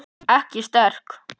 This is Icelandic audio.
Ekki sterk.